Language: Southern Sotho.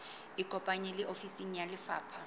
ikopanye le ofisi ya lefapha